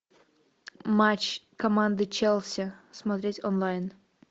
матч команды челси смотреть онлайн